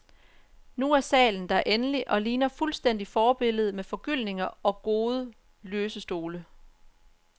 Nu er salen der endelig, og ligner fuldstændig forbilledet med forgyldninger og gode, løse stole.